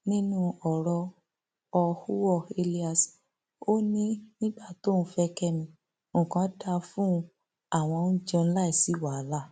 ọjọ orí àwọn um márààrún kò márààrún kò ju ọdún um mẹẹẹdógún sí mẹẹẹdọgbọn lọ